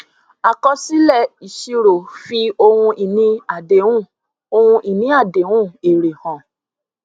àkọsílẹìṣirò fi ohun ìní àdéhùn ohun ìní àdéhùn èrè hàn